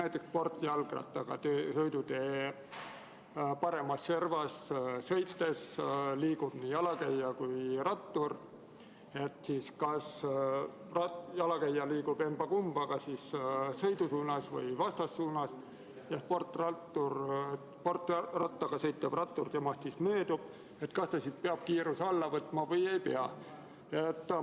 Toon näite: kui sõidutee paremas servas liiguvad nii jalakäija kui ka sportjalgrattaga sõitev rattur, siis kas sportrattaga sõitev rattur peab jalakäijast möödudes kiiruse alla võtma või ei pea?